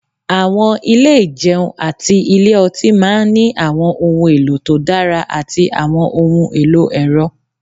Àwọn ilé ìjẹun àti ilé ọtí máa ní àwọn ohun èlò tó dára àti àwọn ohun èlò ẹ̀rọ